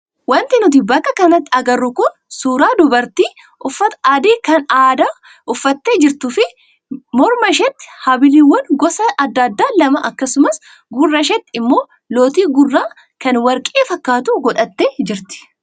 Wanti nuti bakka kanatti agarru kun suuraa dubartii uffata adii kan aadaa uffattee jirtuu fi mirma isheetti habiliiwwangosa adda addaa lama akkasumas gurra isheetti immoo lootii gurraa kan warqee fakkaatu godhattee jirti.